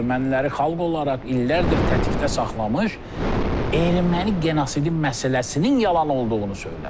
Erməniləri xalq olaraq illərdir təhdiddə saxlamış erməni genosid məsələsinin yalan olduğunu söylədi.